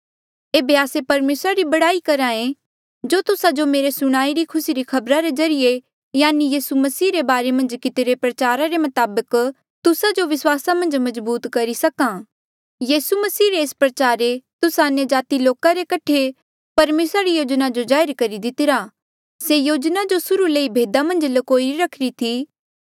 एेबे आस्से परमेसरा री बढ़ाई करहे जो तुस्सा जो मेरे सुणाई री खुसी री खबरा रे ज्रीए यानी यीसू मसीह रे बारे मन्झ कितिरे प्रचार रे मताबक तुस्सा जो विस्वासा मन्झ मजबूत करी सक्हा यीसू मसीह रे एस प्रचारे तुस्सा अन्यजाति लोका रे कठे परमेसरा री योजना जो जाहिर करी दितिरा से योजना जो सुर्हू ले ही भेदा मन्झ ल्कोई रखीरी थी